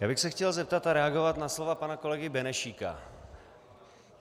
Já bych se chtěl zeptat a reagovat na slova pana kolegy Benešíka.